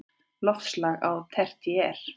Loftslag á tertíer